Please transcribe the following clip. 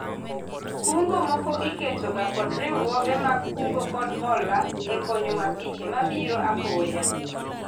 Kungo moko iketo ga kod riwruoge mag kungo kod hola e konyo masiche mabiro apoya